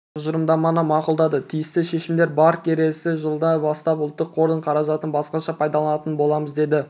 тұжырымдаманы мақұлдады тиісті шешімдер бар келесі жылдан бастап ұлттық қордың қаражатын басқаша пайдаланатын боламыз деді